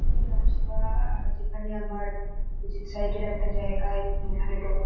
একটি রাস্তা আর যেখানে আমার ফিজিক্স সাইট -এর একটা জায়গা এখানে টোটো --